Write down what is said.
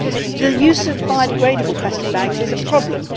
The use of biodegradable plastic bags is a problem.